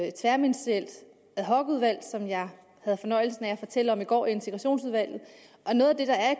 et tværministerielt ad hoc udvalg som jeg havde fornøjelsen af at fortælle om i går i integrationsudvalget noget af